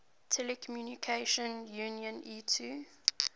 telecommunication union itu